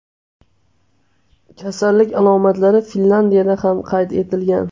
Kasallik alomatlari Finlyandiyada ham qayd etilgan.